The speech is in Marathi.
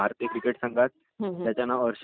तो म्हणजे बॉलिंगवर राहाते